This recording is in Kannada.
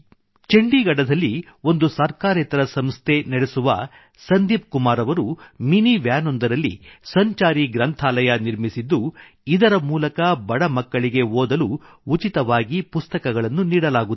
ಚಂಡೀಗಢದಲ್ಲಿ ಒಂದು ಸರ್ಕಾರೇತರ ಸಂಸ್ಥೆ ನ್ಗೋ ನಡೆಸುವ ಸಂದೀಪ್ ಕುಮಾರ್ ಅವರು ಮಿನಿ ವ್ಯಾನೊಂದರಲ್ಲಿ ಮಿನಿ ವನ್ ಸಂಚಾರಿ ಗ್ರಂಥಾಲಯ ನಿರ್ಮಿಸಿದ್ದು ಇದರ ಮೂಲಕ ಬಡ ಮಕ್ಕಳಿಗೆ ಓದಲು ಉಚಿತವಾಗಿ ಪುಸ್ತಕಗಳನ್ನು ನೀಡಲಾಗುತ್ತಿದೆ